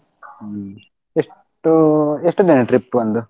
ಹ್ಮ್ ಎಷ್ಟು ಎಷ್ಟು ದಿನ trip ಒಂದು